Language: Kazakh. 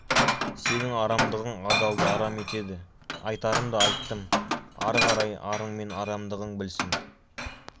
сенің арамдығың адалды арам етеді айтарымды айттым ары қарай арың мен арамдығың білсін